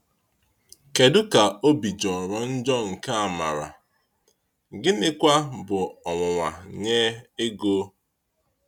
Kedu ka obi jọrọ njọ nke Àmárà, gịnịkwa bụ ọnwụnwa nye Égó!